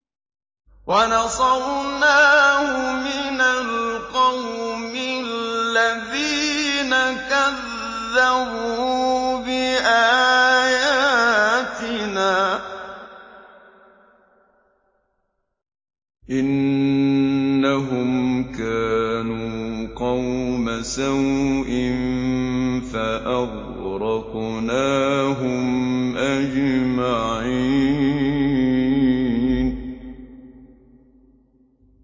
وَنَصَرْنَاهُ مِنَ الْقَوْمِ الَّذِينَ كَذَّبُوا بِآيَاتِنَا ۚ إِنَّهُمْ كَانُوا قَوْمَ سَوْءٍ فَأَغْرَقْنَاهُمْ أَجْمَعِينَ